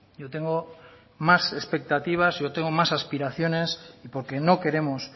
yo tengo más expectativas yo tengo más aspiraciones y porque no queremos